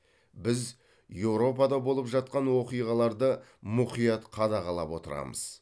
біз еуропада болып жатқан оқиғаларды мұқият қадағалап отырамыз